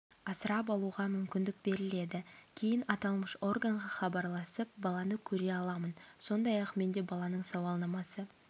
асырап алуға мүмкіндік беріледі кейін аталмыш органға хабарласып баланы көре аламын сондай-ақ менде баланың сауалнамасы